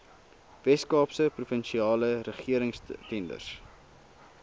weskaapse provinsiale regeringstenders